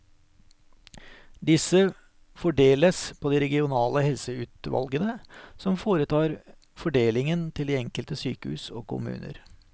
Disse fordeles på de regionale helseutvalgene, som foretar fordelingen til de enkelte sykehus og kommuner.